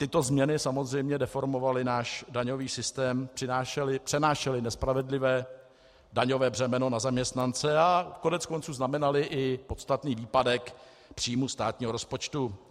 Tyto změny samozřejmě deformovaly náš daňový systém, přenášely nespravedlivé daňové břemeno na zaměstnance a koneckonců znamenaly i podstatný výpadek příjmu státního rozpočtu.